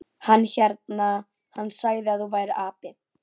Hann hérna. hann sagði að þú værir api.